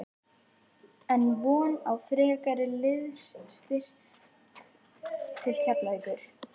Er von á frekari liðsstyrk til Keflavíkur?